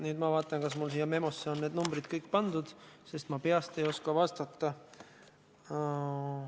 Nüüd ma vaatan, kas mul siia memosse on need numbrid kõik pandud, sest ma peast ei oska vastata.